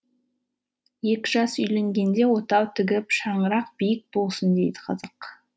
екі жас үйленгенде отау тігіп шаңырақ биік болсын дейді қазақ